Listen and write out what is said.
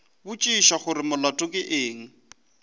botšiša gore molato ke eng